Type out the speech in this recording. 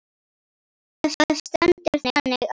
Það stendur þannig á.